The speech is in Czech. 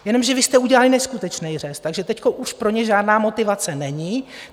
Jenomže vy jste udělali neskutečný řez, takže teď už pro ně žádná motivace není.